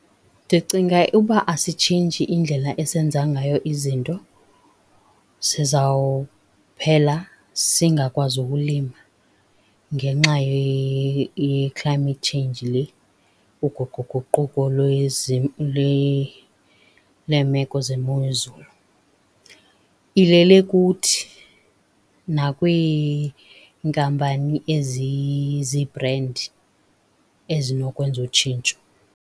Ndicinga uba asitshintshi indlela esenza ngayo izinto sizawuphela singakwazi ukulima ngenxa ye-climate change le, uguquguquko lweemeko zemozulu. Ilele kuthi nakwiinkampani ezizibhrendi ezinokwenza utshintsho.